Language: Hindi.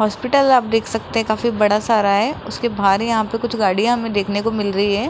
हॉस्पिटल आप देख सकते हैं काफी बड़ा सारा है उसके बाहर यहां पे कुछ गाड़ियां हमें देखने को मिल रही हैं।